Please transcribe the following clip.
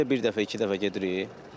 Ayda bir dəfə, iki dəfə gedirik.